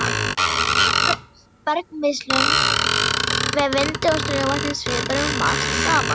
Flutningi bergmylsnu með vindi og straumvatni svipar um margt saman.